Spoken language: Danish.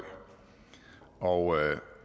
og